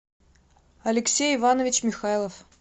алексей иванович михайлов